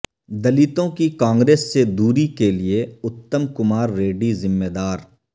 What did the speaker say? دلتوں کی کانگریس سے دوری کیلئے اتم کمار ریڈی ذمہ دار